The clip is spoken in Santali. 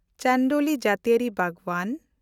ᱪᱟᱱᱰᱳᱞᱤ ᱡᱟᱹᱛᱤᱭᱟᱹᱨᱤ ᱵᱟᱜᱽᱣᱟᱱ